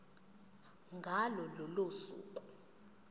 ngalo lolo suku